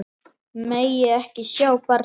Megi ekki sjá barnið.